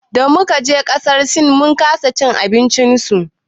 Damu kaje ƙasar sin mun kasa cin abinci su.